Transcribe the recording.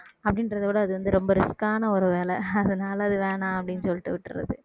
அப்படின்றதை விட அது வந்து ரொம்ப risk ஆன ஒரு வேலை அதனால அது வேணாம் அப்படின்னு சொல்லிட்டு விட்டுறது